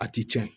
A ti tiɲɛ